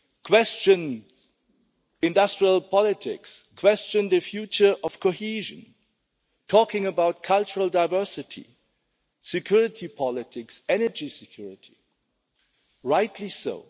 questions on industrial politics, on the future of cohesion, talking about cultural diversity, security politics, energy security and rightly so.